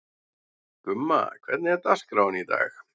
Gumma, hvernig er dagskráin í dag?